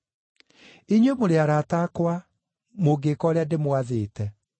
Inyuĩ mũrĩ arata akwa, mũngĩĩka ũrĩa ndĩmwathĩte.